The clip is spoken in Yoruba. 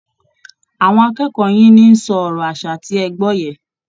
Àwọn akẹ́kọ̀ọ́ yín ni ń sọ ọ̀rọ̀ aṣa tí ẹ gbọ́ yẹn